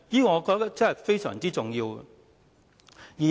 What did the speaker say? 我覺得這方面非常重要。